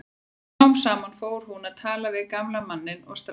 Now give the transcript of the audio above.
Smám saman fór hún að tala við gamla manninn og strákinn.